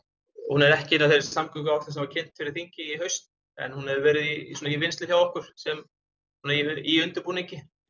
hún er ekki inni á samgönguáætlun sem var kynnt fyrir þingi í haust en hún hefur verið í vinnslu hjá okkur í undirbúningi